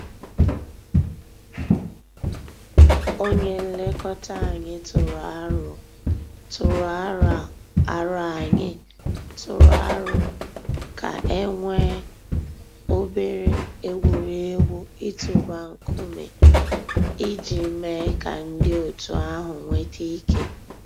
Ònyè nlèkò̩tà ànyị̀ tụrụ̀ àrò̩ ànyị̀ tụrụ̀ àrò̩ kà e nwee obere egwuregwu itụ̀bà ńkùmé̀ íjì mée kà ńdí ọ̀tù àhụ̀ nwete ike.